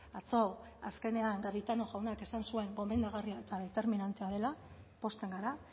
atzo azkenean garitano jaunak esan zuen gomendagarria eta determinantea dela pozten gara